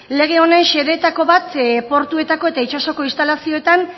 lege honen xedeetako bat portuetako eta itsasoko instalazioetan